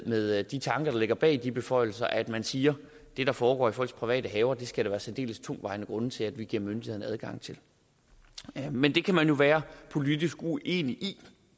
med de tanker der ligger bag de beføjelser at man siger det der foregår i folks private haver skal der være særdeles tungtvejende grunde til at vi giver myndighederne adgang til men det kan man jo være politisk uenig i